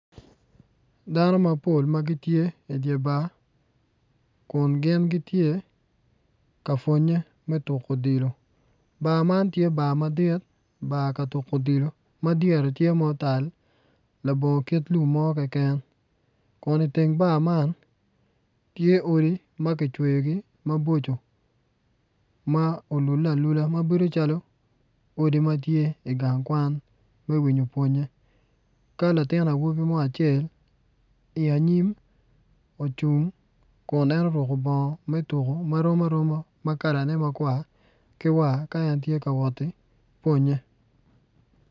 Dano mapol ma gitye i dye bar kun gin gitye ka pwonye me tuko odilo bar man tye bar madit bar ka tuko odilo ma dyere otal labongo kit lum mo keken kun iteng bar man tye odi ma kicweyogi maboco ma olule alula ma bedo calo odi ma tye i gang kwan me winyo pwonye ka latin awobi mo acel i anyim ocung ma ruko bongo ma kalane rom aroma makwar ki war ka en woto ki pwonye.